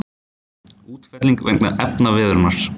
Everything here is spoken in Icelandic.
Útfelling vegna efnaveðrunar.